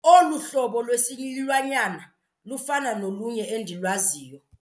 Olu hlobo lwesilwanyana lufana nolunye endilwaziyo.